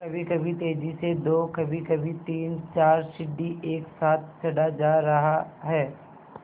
कभीकभी तेज़ी से दो कभीकभी तीनचार सीढ़ी एक साथ चढ़ा जा रहा है